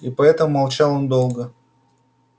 и поэтому молчал он долго